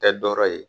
Tɛ dɔ ye